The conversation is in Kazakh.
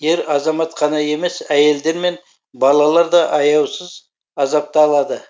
ер азамат қана емес әйелдер мен балалар да аяусыз азапталады